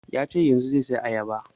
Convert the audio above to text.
Ya ce yanzun zai saya ayaba